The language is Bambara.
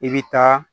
I bɛ taa